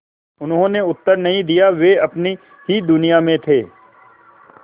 उन्होंने उत्तर नहीं दिया वे अपनी ही दुनिया में थे